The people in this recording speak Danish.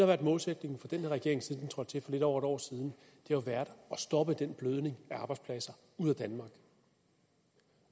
været målsætningen for den her regering siden den trådte til for lidt over et år siden har været at stoppe den blødning af arbejdspladser ud af danmark